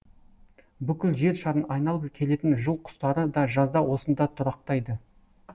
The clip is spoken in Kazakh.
бүкіл жер шарын айналып келетін жыл құстары да жазда осында тұрақтайды